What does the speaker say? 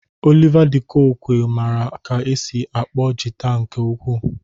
Oliva de koque mara ka esi akpọ jịta nke ukwu.